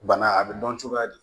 Bana a bɛ dɔn cogoya di